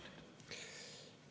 Kaheksa minutit.